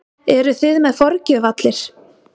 Eruð þið með forgjöf allir?